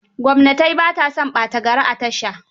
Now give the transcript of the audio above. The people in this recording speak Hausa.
Gwamnatai ba ta son ɓata gari a tasha.